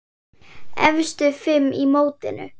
Efstu fimm í mótinu